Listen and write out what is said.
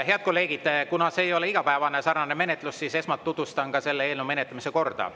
Head kolleegid, kuna selline menetlus ei ole igapäevane, siis esmalt tutvustan menetlemise korda.